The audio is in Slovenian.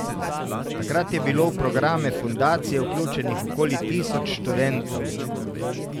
Takrat je bilo v programe fundacije vključenih okoli tisoč študentov.